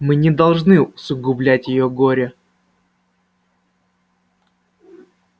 мы не должны усугублять её горе